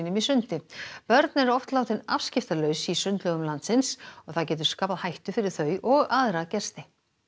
í sundi börn eru oft látin afskiptalaus í sundlaugum landsins og það getur skapað hættu fyrir þau og aðra gesti